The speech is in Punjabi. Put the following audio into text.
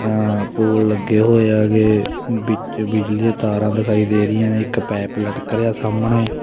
ਆ ਪੋਲ ਲੱਗੇ ਹੋਏ ਹੈਗੇ ਵਿੱਚ ਬਿਜਲੀ ਦੀਆਂ ਤਾਰਾਂ ਦਿਖਾਈ ਦੇ ਰਹੀਆਂ ਨੇ ਇੱਕ ਪੈਪ ਲਟਕ ਰਿਹਾ ਸਾਹਮਣੇ।